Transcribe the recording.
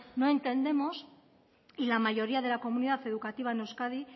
no entendemos y la mayoría de la comunidad educativa en euskadi